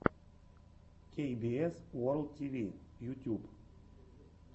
кей би эс ворлд ти ви ютьюб